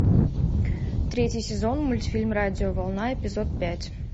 третий сезон мультфильм радиоволна эпизод пять